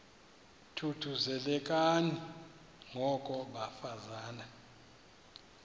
thuthuzelekani ngoko bafazana